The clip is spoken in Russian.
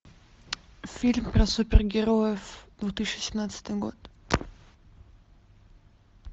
фильм про супергероев две тысячи семнадцатый год